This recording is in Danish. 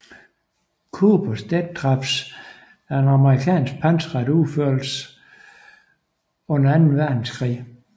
Coopers Death Traps om amerikansk pansret krigsførelse under Anden Verdenskrig